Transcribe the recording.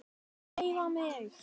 HREYFA MIG!